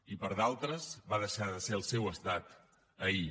i per a d’altres va deixar de ser el seu estat ahir